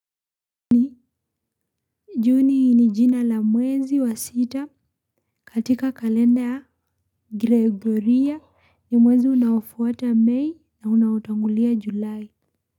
Juni ni jina la mwezi wa sita katika kalenda ya Gregoria ya mwezi unaofuata May na unaotangulia Julai.